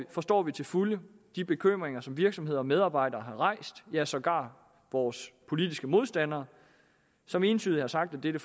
forstår vi til fulde de bekymringer som virksomheder og medarbejdere har rejst ja sågar vores politiske modstandere som entydigt har sagt at dette